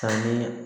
Ani